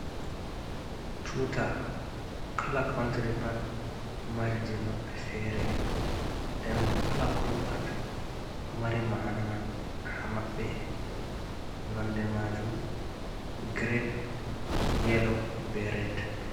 Tuta: Kala country pat ɗo mari je maɓɓe fere nden bo kala kolo pat ɗo mari ma'ana man ha maɓɓe nonde majum girin, yelo, be red.